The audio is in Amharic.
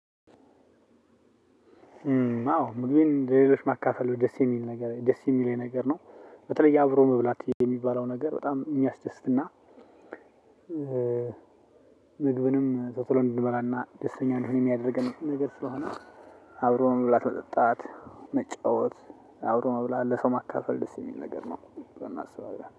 አዎ ምግቤን ለሌሎች ማካፈል ደስ የሚል ነገር ደስ የሚል ነገር ነው። በተለይ አብሮ መብላት የሚባለው ነገር በጣም የሚያስደስትና ምግብንም ቶቶሎ እንድንበላና ደስተኛ እንድንሆን የሚያደርገን ነገር ስለሆነ። አብሮ መብላት መጠጣት መጫወት አብሮ መብላት ለሰው ማካፈል ደስ የሚል ነገር ነው። ብለው እናስባለን